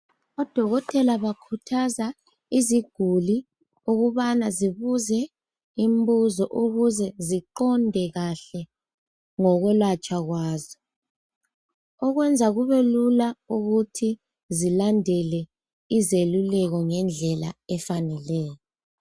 Odokotela bakhuthaza iziguli ukuze babuze imibuzo, ukuze ziqonde kahle ngokwelatshwa kwazo kwenza kube lula belandele izeluleko ngokufaneleyo.